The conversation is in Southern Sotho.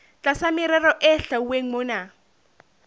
tlasa merero e hlwauweng mona